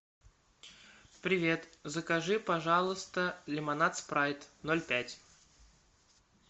привет закажи пожалуйста лимонад спрайт ноль пять